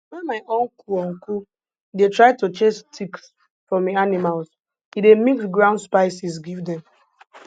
when my uncle uncle dey try to chase ticks from hin animals he dey mix ground spices give dem